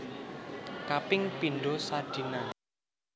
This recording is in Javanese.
Kaping pindho sadina